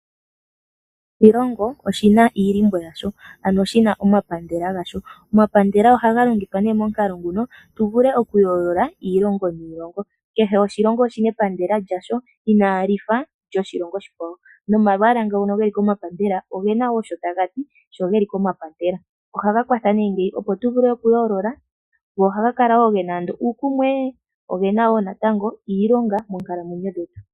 Kehe oshilongo oshi na omapandela gasho. Omapandela ohaga longithwa nee momukalo nguno tu vule okuyoolola iilongo niilongo. Kehe oshilongo oshi na epandela lyasho inaali fa lyoshilongo oshikwawo nomalwaala ngo ge li komapandela oge na woo sho taga ti sho geli komapandela. Ohaga kwatha opo tu vule okuyoolola go ohaga kala wo ge na ando uukumwe noge na natango iilonga moonkalamwenyo dhetu.